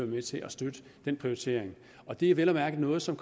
med til at støtte den prioritering og det er vel at mærke noget som